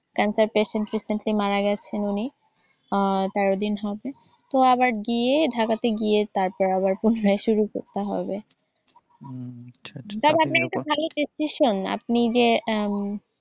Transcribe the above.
cancer patient, recently মারা গেছেন উনি। আহ তেরো দিন হবে। তো আবার গিয়ে ঢাকাতে গিয়ে তারপর আবার পুনরায় শুরু করতে হবে। but আপনার এটা ভালো decision আপনি যে উম